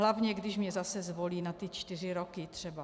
Hlavně když mě zase zvolí na ty čtyři roky, třeba.